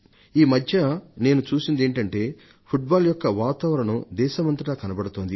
ఈ మధ్య నేను చూసిందేమిటంటే ఫుట్బాల్ యొక్క వాతావరణం దేశమంతటా కనపడుతోంది